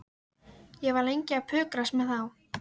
Ég var lengi að pukrast með þá.